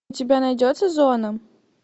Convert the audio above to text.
у тебя найдется зона